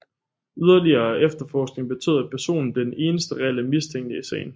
Yderligere efterforskning betød at personen blev den eneste reelle mistænkte i sagen